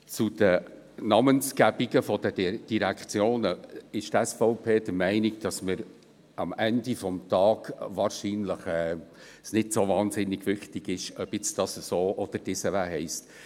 Zu den Namensgebungen der Direktionen ist die SVP der Meinung, dass es am Ende des Tages wahrscheinlich nicht so wahnsinnig wichtig ist, ob diese jetzt so oder anders heisst.